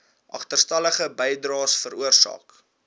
agterstallige bydraes veroorsaak